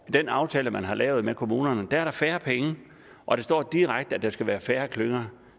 den aftale man har lavet med kommunerne er der færre penge og der står direkte at der skal være færre klynger